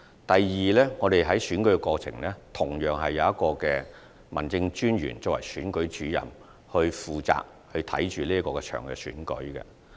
第二，在選舉過程中，同樣是由一名民政事務專員擔任選舉主任，負責監察該次選舉。